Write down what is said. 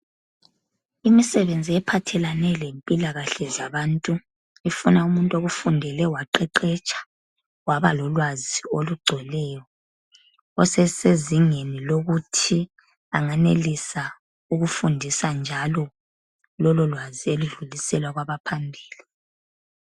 Imisebenzi ephathelana lempilakahle zabantu, ifuna umuntu okufundele waqeqetsha waba lolwazi olugcweleyo. Osesezingeni lokuthi angenelisa ukufundisa njalo lololwazi eludlulisela kwabaphambili.